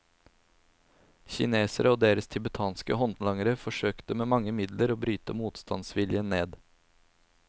Kineserne og deres tibetanske håndlangere forsøkte med mange midler å bryte motstandsviljen ned.